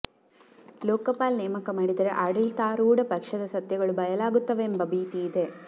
ಲೋಕಪಾಲ್ ನೇಮಕ ಮಾಡಿದರೆ ಆಡಳಿತಾರೂಢ ಪಕ್ಷದ ಸತ್ಯಗಳು ಬಯಲಾಗುತ್ತವೆಂಬ ಭೀತಿ ಇದೆ